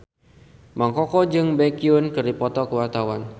Mang Koko jeung Baekhyun keur dipoto ku wartawan